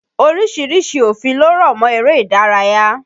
Oríṣiríṣi òfin ló rọ̀mọ́ eré ìdárayá.